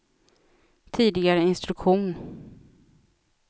tidigare instruktion